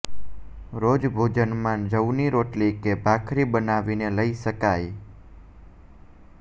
રોજ ભોજનમાં જવની રોટલી કે ભાખરી બનાવીને લઈ શકાય